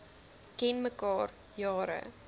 ken mekaar jare